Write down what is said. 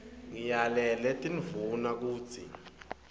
ngiyalele tindvuna kutsi